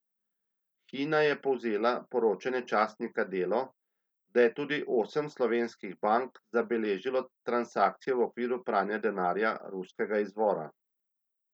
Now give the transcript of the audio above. Hina je povzela poročanje časnika Delo, da je tudi osem slovenskih bank zabeležilo transakcije v okviru pranja denarja ruskega izvora.